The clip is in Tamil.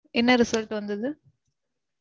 என்ன result வந்தது?